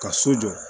Ka so jɔ